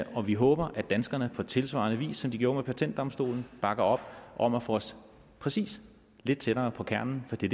og vi håber at danskerne på tilsvarende vis som de gjorde med patentdomstolen bakker op om at få os præcis lidt tættere på kernen for det